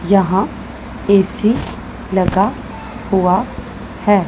यहां ए_सी लगा हुआ है।